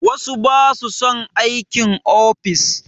Wasu ba su son aikin ofis